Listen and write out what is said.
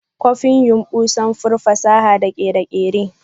Copin yumbu sanfur fasaha da kere-kere ne.